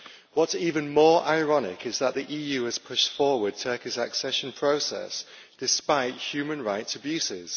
What is even more ironic is that the EU has pushed forward Turkey's accession process, despite human rights abuses.